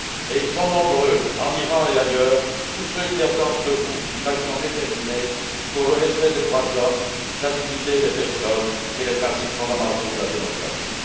Ils sont nombreux, en Iran et ailleurs, tous ceux qui attendent de vous une action déterminée pour le respect des droits de l'homme, la dignité des personnes et les principes fondamentaux de la démocratie.